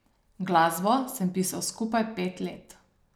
Glasbo sem pisal skupaj pet let.